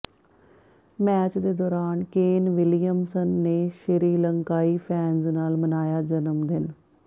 match ਦੇ ਦੌਰਾਨ Kane Williamson ਨੇ ਸ਼੍ਰੀਲੰਕਾਈ ਫੈਨਜ਼ ਨਾਲ ਮਨਾਇਆ ਜਨਮਦਿਨ